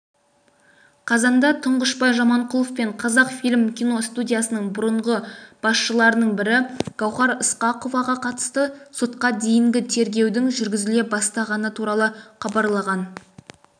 қазанда тұңғышбай жаманқұлов пен қазақфильм киностудиясының бұрыңғы басшыларының бірі гауһар ысқақоваға қатысты сотқа дейінгі тергеудің жүргізіле бастағаны туралы хабарлаған